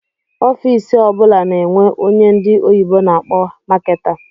Ọffici ọbula na-enwe ónyé ndị oyibo na akpọ Marketer.